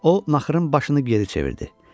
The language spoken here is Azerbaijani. O naxırın başını geri çevirdi.